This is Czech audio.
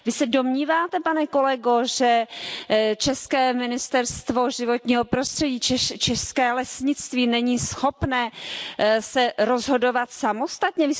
Vy se domníváte, pane kolego, že české ministerstvo životního prostředí, české lesnictví není schopné se rozhodovat samostatně?